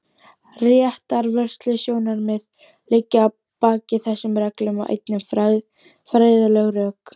Réttarvörslusjónarmið liggja að baki þessum reglum og einnig fræðileg rök.